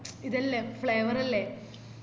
ഇതല്ലേ flavour അല്ലെ